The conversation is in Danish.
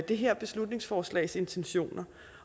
det her beslutningsforslags intentioner